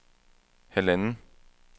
halvanden